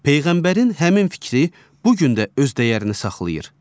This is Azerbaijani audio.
Peyğəmbərin həmin fikri bu gün də öz dəyərini saxlayır.